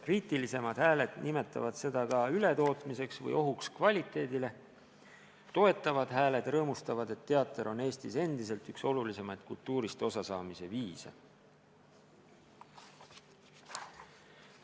Kriitilisemad hääled nimetavad seda ka ületootmiseks või ohuks kvaliteedile, toetavad hääled rõõmustavad, et teater on Eestis endiselt üks olulisimaid kultuurist osasaamise viise.